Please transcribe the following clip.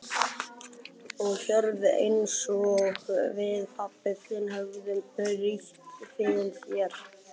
Og hörð einsog við pabbi þinn höfum brýnt fyrir þér.